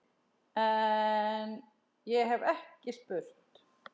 En- ég hef ekki spurt.